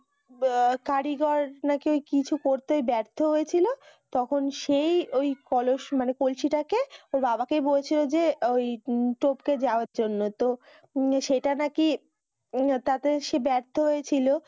কারিগর নাকি কিছু করতে বার্থ হয়েছিল তখন সেই ওই কলস মানে কলসীটাকে ওর বাবাকেই বলছিলো যে ওই টপকে যাওয়ার জন্য তো উম সেটা নাকি উম তাতে সে বার্থ হয়েছিল